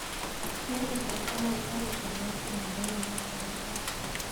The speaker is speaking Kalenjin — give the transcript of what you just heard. Ker kasarta nebo karit ab maat komanda en mombasa kotaai